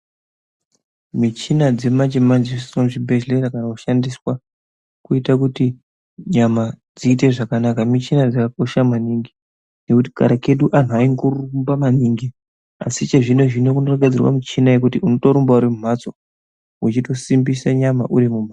Michina dzemanje manje dzinoiswe muchibhedhlera kana kushandiswa kuite kuti nyama dziite zvakanaka michina dzakakosha maningi ngekuti kare kedu anhu aingorumba maningi asi chezvino zvino kunogadzirwe michina yekuti undorumba uri mumhatso wechindosimbise nyama uri mumhatso